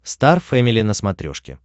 стар фэмили на смотрешке